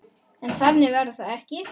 En þannig verður það ekki.